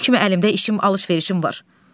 Kim kimi əlimdə işim, alış-verişim var.